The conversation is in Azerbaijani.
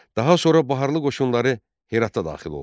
Daha sonra Baharlı qoşunları Herata daxil oldu.